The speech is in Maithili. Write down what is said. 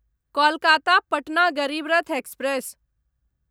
कोलकाता पटना गरीब रथ एक्सप्रेस